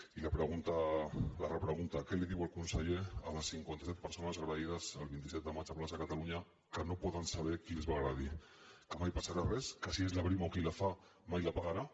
i la pregunta la repregunta què diu el conseller a les cinquanta set persones agredides el vint set de maig a plaça catalunya que no poden saber qui els va agredir que mai passarà res que si és la brimo qui la fa mai la pagarà